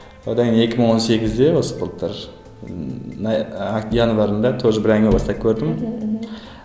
одан кейін екі мың он сегізде осы былтыр ммм январьдада тоже бір әңгіме бастап көрдім мхм